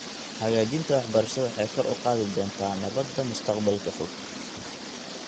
Hagaajinta waxbarashada waxay kor u qaadi doontaa nabadda mustaqbalka fog .